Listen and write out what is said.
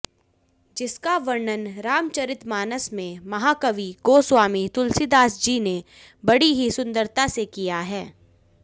जिसका वर्णन श्रीरामचरितमानस में महाकवि गोस्वामी तुलसीदासजी ने बड़ी ही सुंदरता से किया है